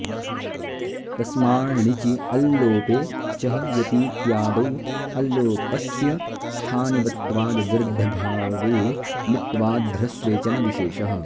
तस्माण्णिचि अल्लोपे चहयतीत्यादौ अल्लोपस्य स्थानिवत्त्वाद्वृद्ध्यबावे मित्त्वाद्ध्रस्वे च न विशेषः